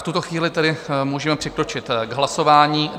V tuto chvíli tedy můžeme přikročit k hlasování.